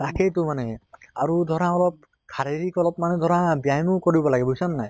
তাকে টো মানে আৰি ধৰা অলপ শাৰীৰিক অলপ মানে ধৰা ব্য়ায়ামো কৰিব লাগে বুইছা নে নাই